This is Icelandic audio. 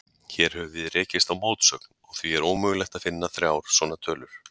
Hér höfum við rekist á mótsögn, og því er ómögulegt að finna þrjár svona tölur.